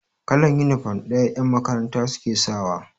Kalan inifom ɗaya yan makaranta suke sawa